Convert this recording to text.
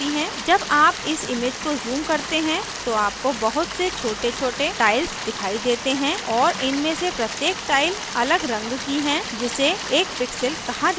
जब आप इस image को zoom करते हैं तो आपको बहुत से छोटेछोटे tiles दिखाई देते हैं और इनमें से प्रत्येक tiles अलग रंग की है जिसे एक pixel कहा जाता है